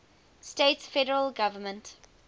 states federal government